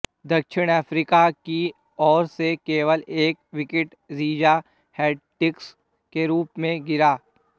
दक्षिण अफ़्रीका की ओर से केवल एक विकेट रीज़ा हेंड्रिक्स के रूप में गिरा